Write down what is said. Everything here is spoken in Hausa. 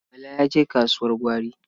Bala ya je kasuwar gwari.